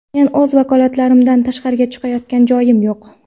Men o‘z vakolatlarimdan tashqariga chiqayotgan joyim yo‘q.